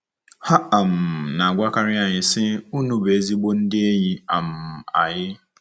Ha um na-agwakarị anyị, sị, “Unu bụ ezigbo ndị enyi um anyị”